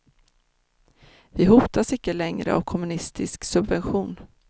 Vi hotas icke längre av kommunistisk subversion.